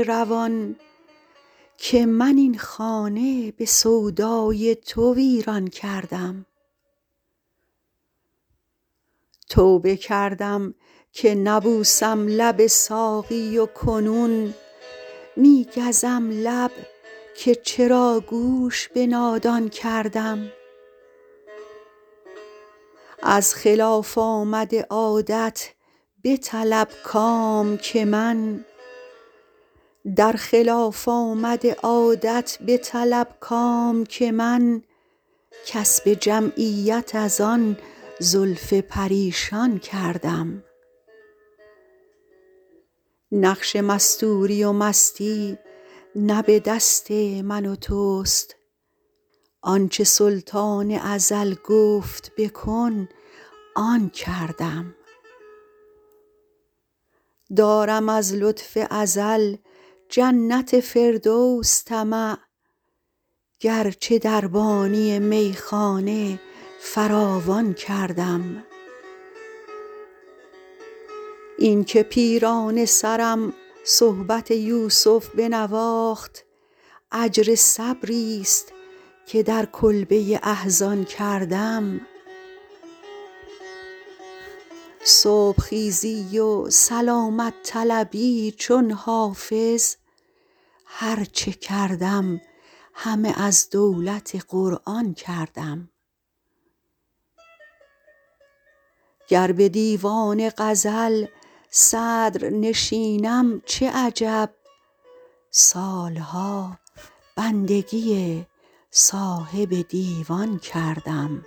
روان که من این خانه به سودای تو ویران کردم توبه کردم که نبوسم لب ساقی و کنون می گزم لب که چرا گوش به نادان کردم در خلاف آمد عادت بطلب کام که من کسب جمعیت از آن زلف پریشان کردم نقش مستوری و مستی نه به دست من و توست آن چه سلطان ازل گفت بکن آن کردم دارم از لطف ازل جنت فردوس طمع گرچه دربانی میخانه فراوان کردم این که پیرانه سرم صحبت یوسف بنواخت اجر صبریست که در کلبه احزان کردم صبح خیزی و سلامت طلبی چون حافظ هر چه کردم همه از دولت قرآن کردم گر به دیوان غزل صدرنشینم چه عجب سال ها بندگی صاحب دیوان کردم